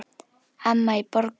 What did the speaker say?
Amma í Borgó.